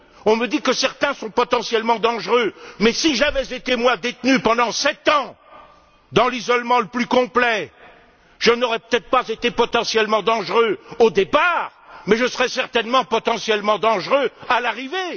On me dit que certains sont potentiellement dangereux, mais si j'avais été, moi, détenu pendant sept ans dans l'isolement le plus complet, je n'aurais peut être pas été potentiellement dangereux au départ, mais je serais certainement devenu potentiellement dangereux à l'arrivée!